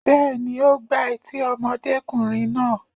Bẹ́ẹ̀ni, ó gbá etí ọmọdékùnrin náà.